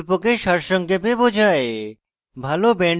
এটি প্রকল্পকে সারসংক্ষেপে বোঝায়